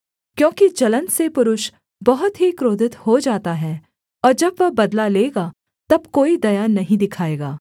क्योंकि जलन से पुरुष बहुत ही क्रोधित हो जाता है और जब वह बदला लेगा तब कोई दया नहीं दिखाएगा